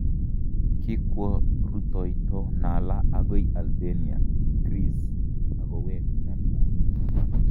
Kikwo ritoyto Nala agoi Albania , Greece akoweek Dunbar.